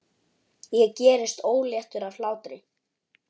Ég gerist óléttur af hlátri.